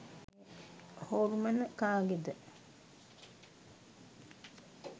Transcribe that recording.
හොල්මන කාගේද